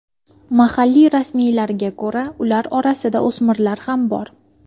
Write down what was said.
Mahalliy rasmiylarga ko‘ra, ular orasida o‘smirlar ham bor.